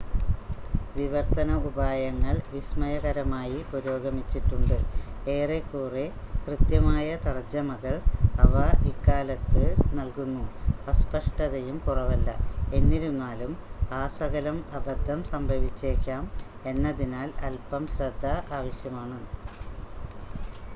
വിവർത്തന ഉപായങ്ങൾ വിസ്മയകരമായി പുരോഗമിച്ചിട്ടുണ്ട് ഏറെക്കുറെ കൃത്യമായ തർജ്ജമകൾ അവ ഇക്കാലത്ത് നൽകുന്നു അസ്പഷ്ടതയും കുറവല്ല എന്നിരുന്നാലും ആസകലം അബദ്ധം സംഭവിച്ചേക്കാം എന്നതിനാൽ അൽപം ശ്രദ്ധ ആവശ്യമാണ്